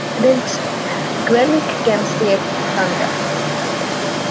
Dengsi, hvernig kemst ég þangað?